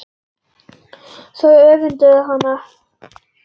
Þau öfunda hana.